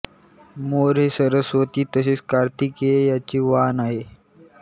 मोर हे सरस्वती तसेच कार्तिकेय यांचे वाहन आहे